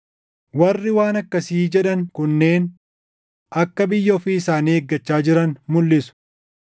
Warri waan akkasii jedhan kunneen akka biyya ofii isaanii eeggachaa jiran mulʼisu.